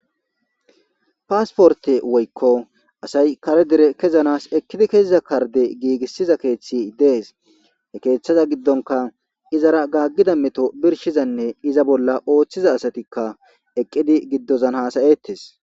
Paasporte woykko asay kare dere kezanas ekkidi keziza karde giigissiza keeththi dees. Ha keeththaza giddonika izara gaaggida meto birshizanne iza bolla ooththiza asatikka eqqidi giddozan hasayettes.